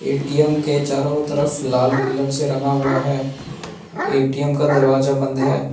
ATM के चारों तरफ लाल कलर से रंगा हुआ है ए_टी_एम का दरवाजा बंद है।